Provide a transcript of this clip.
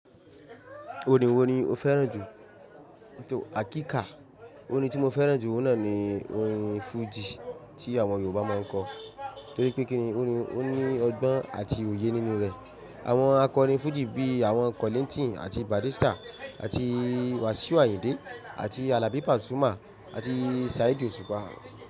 Orin wo ni o fẹ́ràn jù? Àkíka orin tí mo fẹ́ràn jù náà ni orin fújì tí àwọn Yorùbá máa ń kọ. Torí pé kíni orin ó ní ọgbọ́n àti òye nínú rẹ̀. Àwọn akọrin fújì bí i àwọn Kọ́líńtììnì àti Bàrristà àti Wasiu Ayinde àti Alabi Pasuma àti Saheed Osupa.